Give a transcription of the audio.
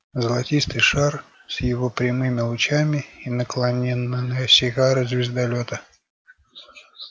золотистый шар с его прямыми лучами и наклонённая сигара звездолёта